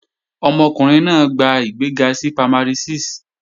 Ọmọkùnrin náà gba ìgbéga sí Primary 6